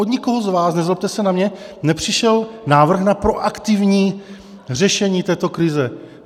Od nikoho z vás, nezlobte se na mě, nepřišel návrh na proaktivní řešení této krize.